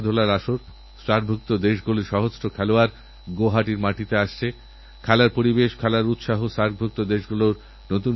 আমরা স্বাধীনতার আনন্দ উপভোগ করছি স্বাধীন নাগরিক হওয়ার গর্বওঅনুভব করছি এই স্বাধীনতা যাঁরা এনেছিলেন সেই সব মানুষদের স্মরণ করার এটাই তোসময়